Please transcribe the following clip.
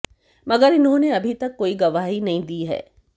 मगर इन्होंने अभी तक कोई गवाही नहीं दी है